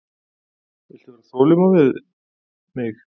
Viltu vera þolinmóð við mig.